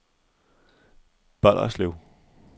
Bolderslev